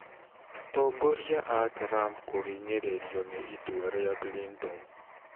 Atongoria a Trump kũhinyĩrĩrio nĩ itua rĩa Clinton